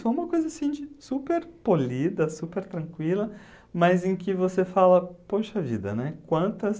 Foi uma coisa, assim de, super polida, super tranquila, mas em que você fala, poxa vida, né? Quantas